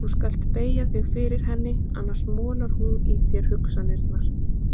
Þú skalt beygja þig fyrir henni, annars molar hún í þér hugsanirnar.